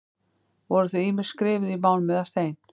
Voru þau ýmist skrifuð í málm eða stein.